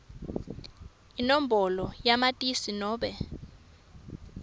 inombolo yamatisi nobe